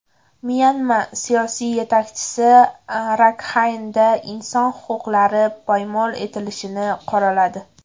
Myanma siyosiy yetakchisi Rakxaynda inson huquqlari poymol etilishini qoraladi.